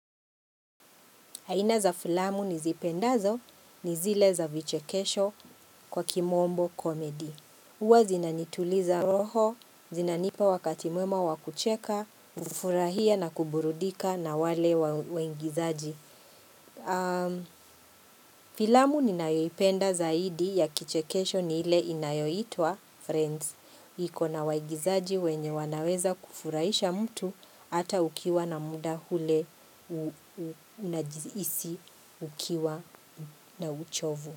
Aina za filamu nizipendazo ni zile za vichekesho kwa kimombo komedi. Uwa zinanituliza roho, zinanipa wakati mwema wakucheka, ufurahia na kuburudika na wale waingizaji. Filamu ninaipenda zaidi ya kichekesho ni ile inayoitwa friends. Ikona waigizaji wenye wanaweza kufurahisha mtu hata ukiwa na muda hule unajihisi ukiwa na uchovu.